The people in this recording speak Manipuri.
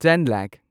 ꯇꯦꯟ ꯂꯥꯈ